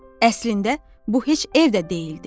Əslində bu heç ev də deyildi.